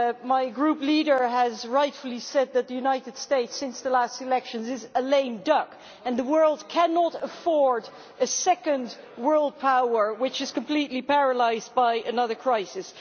My group leader has rightly said that the United States, since the last elections, is a lame duck, and the world cannot afford a second world power which is completely paralysed by another crisis.